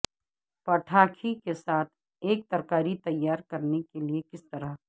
پٹاکھی کے ساتھ ایک ترکاریاں تیار کرنے کے لئے کس طرح